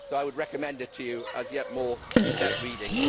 I would recommend it to you as yet more set reading.